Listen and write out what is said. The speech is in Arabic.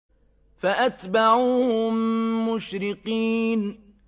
فَأَتْبَعُوهُم مُّشْرِقِينَ